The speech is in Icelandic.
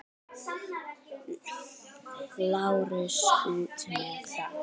LÁRUS: Út með það!